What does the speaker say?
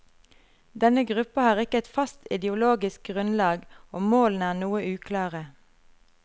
Denne gruppa har ikke et fast ideologisk grunnlag, og målene er noe uklare.